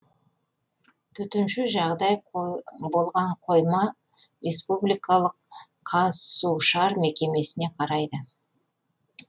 төтенше жағдай болған қойма республикалық қазсушар мекемесіне қарайды